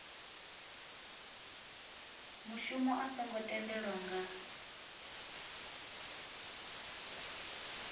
mushumo a songo tendelwa nga